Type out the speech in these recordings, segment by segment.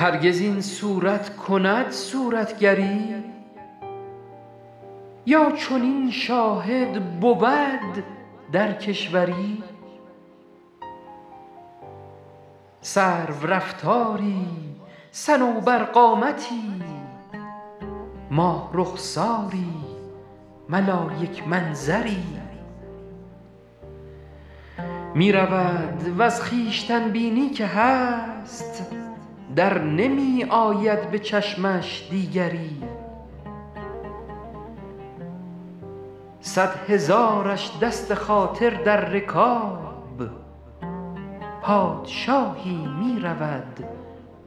هرگز این صورت کند صورتگری یا چنین شاهد بود در کشوری سرورفتاری صنوبرقامتی ماه رخساری ملایک منظری می رود وز خویشتن بینی که هست در نمی آید به چشمش دیگری صد هزارش دست خاطر در رکاب پادشاهی می رود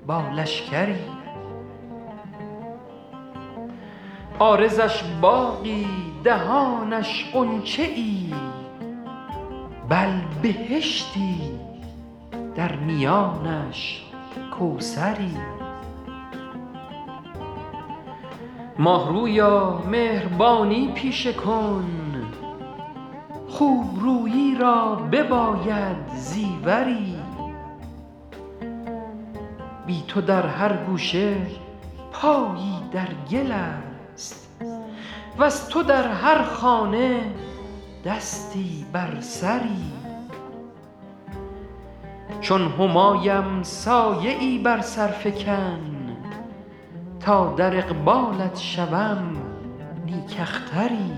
با لشکری عارضش باغی دهانش غنچه ای بل بهشتی در میانش کوثری ماه رویا مهربانی پیشه کن خوب رویی را بباید زیوری بی تو در هر گوشه پایی در گل است وز تو در هر خانه دستی بر سری چون همایم سایه ای بر سر فکن تا در اقبالت شوم نیک اختری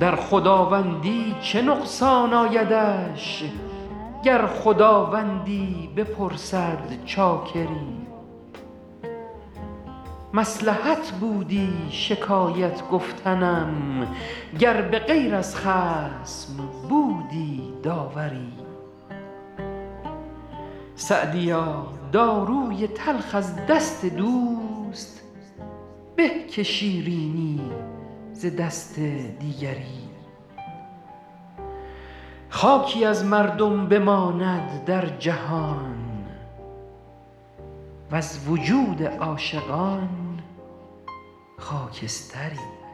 در خداوندی چه نقصان آیدش گر خداوندی بپرسد چاکری مصلحت بودی شکایت گفتنم گر به غیر از خصم بودی داوری سعدیا داروی تلخ از دست دوست به که شیرینی ز دست دیگری خاکی از مردم بماند در جهان وز وجود عاشقان خاکستری